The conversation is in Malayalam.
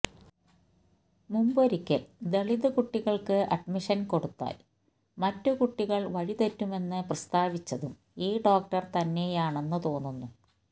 മുമ്പൊരിക്കല് ദളിത് കുട്ടികള്ക്ക് അഡ്മിഷന് കൊടുത്താല് മറ്റ് കുട്ടികള് വഴി തെറ്റുമെന്ന് പ്രസ്താവിച്ചതും ഈ ഡോക്ടര് തന്നെയാണെന്ന് തോന്നുന്നു